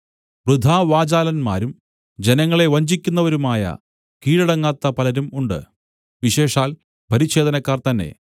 വൃഥാവാചാലന്മാരും ജനങ്ങളെ വഞ്ചിക്കുന്നവരുമായ കീഴടങ്ങാത്ത പലരും ഉണ്ട് വിശേഷാൽ പരിച്ഛേദനക്കാർ തന്നെ